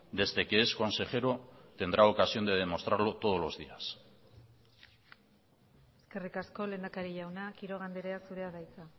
desde que es consejero tendrá ocasión de demostrarlo todos los días eskerrik asko lehendakari jauna quiroga andrea zurea da hitza